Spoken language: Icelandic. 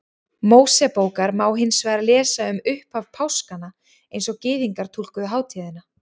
Mósebókar má hins vegar lesa um upphaf páskanna eins og Gyðingar túlkuðu hátíðina.